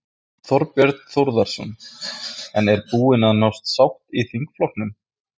Þorbjörn Þórðarson: En er búin að nást sátt í þingflokknum?